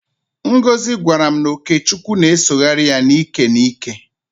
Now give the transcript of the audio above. Ngozị gwara m na ọkechukwu na-esogharị ya n'íkè n'íkè.